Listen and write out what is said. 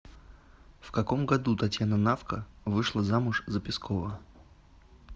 в каком году татьяна навка вышла замуж за пескова